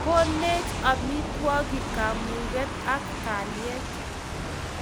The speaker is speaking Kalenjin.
Koneech amitwogik kamuget ak kalyet